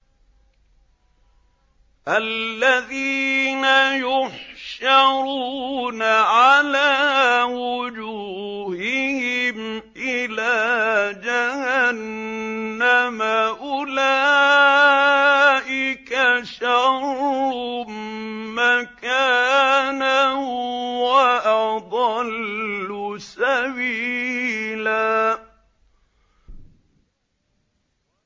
الَّذِينَ يُحْشَرُونَ عَلَىٰ وُجُوهِهِمْ إِلَىٰ جَهَنَّمَ أُولَٰئِكَ شَرٌّ مَّكَانًا وَأَضَلُّ سَبِيلًا